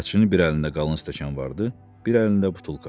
Bələtçinin bir əlində qalın stəkan vardı, bir əlində butulka.